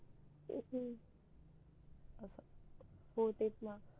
हो चेत णा